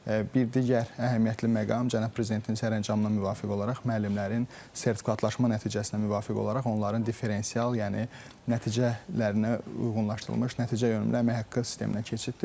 Bir digər əhəmiyyətli məqam cənab prezidentin sərəncamına müvafiq olaraq müəllimlərin sertifikatlaşma nəticəsinə müvafiq olaraq onların differensial, yəni nəticələrinə uyğunlaşdırılmış nəticəyönümlü əmək haqqı sisteminə keçiddir.